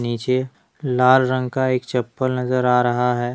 नीचे लाल रंग का एक चप्पल नजर आ रहा है।